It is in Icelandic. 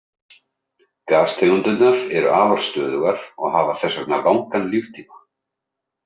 Gastegundirnar eru afar stöðugar og hafa þess vegna langan líftíma.